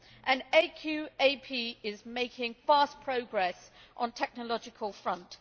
and AQAP is making fast progress on a technological front.